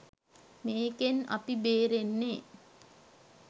මේකෙන් අපි බේරෙන්නේ